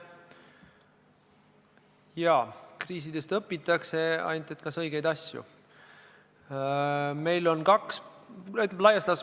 Jaa, kriisidest õpitakse, ainult küsimus on, kas õigeid asju.